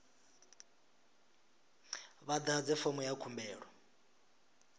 vha ḓadze fomo ya khumbelo